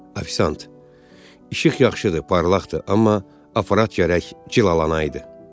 Ofisiant, işıq yaxşıdır, parlaqdır, amma aparat gərək cilalanaydı.